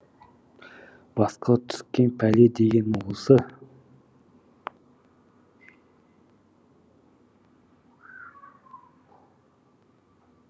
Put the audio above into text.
басқа түскен пәле деген осы